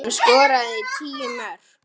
Hann skoraði tíu mörk.